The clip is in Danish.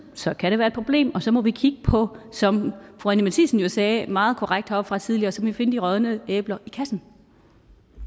så kan det være problem og så må vi kigge på det som fru anni matthiesen jo sagde meget korrekt heroppefra tidligere så må vi finde de rådne æbler i kassen